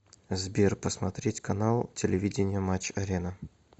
сбер посмотреть канал телевидения матч арена